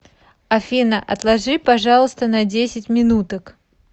афина отложи пожалуйста на десять минуток